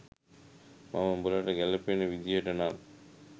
මම උඹලට ගැලපෙන විදිහට නම්